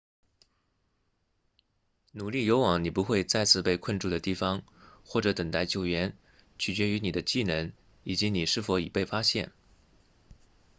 努力游往你不会再次被困住的地方或者等待救援取决于你的技能以及你是否已被发现